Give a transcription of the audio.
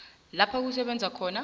lapho usebenza khona